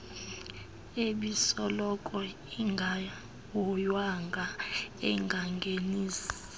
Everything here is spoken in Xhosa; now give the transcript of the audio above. ebisoloko ingahoywanga engangenisi